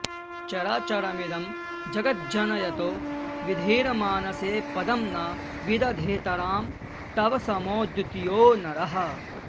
चराचरमिदं जगज्जनयतो विधेर्मानसे पदं न विदधेतरां तव समो द्वितीयो नरः